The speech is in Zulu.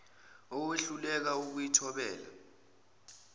owehluleka ukuyi thobela